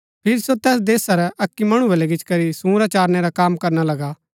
फिरी सो तैस देशा रै अक्की मणु बलै गिचीकरी सूंरा चारनै रा कम करना लगा